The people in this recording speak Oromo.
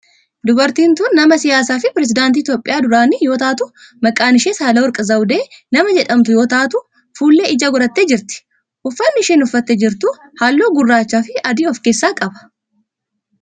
Dubartiin tun nama siyaasaa fi pireesidaantii Itiyoophiyaa duraanii yoo taatu maqaan ishee sahaalawerq zaawudee nama jedhamtu yoo taatu fuullee ijaa godhattee jirti. Uffanni isheen uffattee jirtu halluu gurraachaa fi adii of keessaa qaba.